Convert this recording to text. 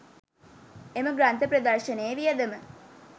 එම ග්‍රන්ථ ප්‍රදර්ශනයේ වියදම